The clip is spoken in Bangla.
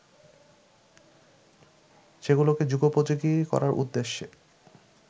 সেগুলোকে যুগোপযোগী করার উদ্দেশ্যে